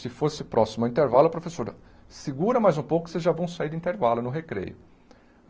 Se fosse próximo ao intervalo, a professora, segura mais um pouco que vocês já vão sair no intervalo, no recreio.